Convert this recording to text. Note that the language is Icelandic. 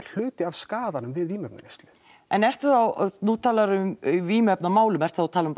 hluti af skaðanum við vímuefnaneyslu en ertu þá nú talarðu um vímuefnamál ertu þá að tala um